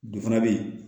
Du fana bɛ yen